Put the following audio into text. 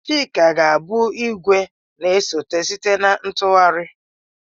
Chika ga-abụ igwe na-esote site na ntụgharị.